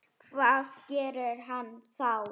Og hvað gerir hann þá?